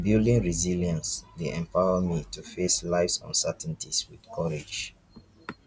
building resilience dey empower me to face lifes uncertainties with courage